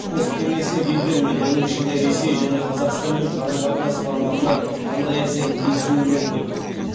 посткеңестік елдермен оның ішінде ресей және қазақстанмен қарым қатынас форматына қандай әсерін тигізуі мүмкін